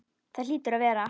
Það hlýtur að vera.